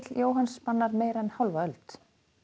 Jóhanns spannar meira en hálfa öld